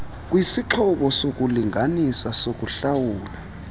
kwisixhobo sokulinganisa sokuhlawula